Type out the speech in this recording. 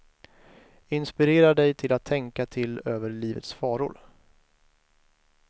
Inspirerar dig till att tänka till över livets faror.